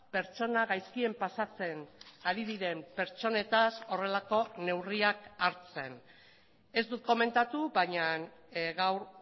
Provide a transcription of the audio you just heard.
pertsona gaizkien pasatzen ari diren pertsonetaz horrelako neurriak hartzen ez dut komentatu baina gaur